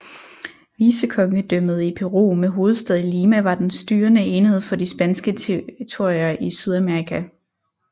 Vicekongedømmet i Peru med hovedstad i Lima var den styrende enhed for de spanske territorier i Sydamerika